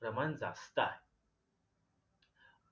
प्रमाण जास्त आहे